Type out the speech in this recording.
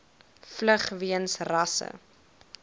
vlug weens rasse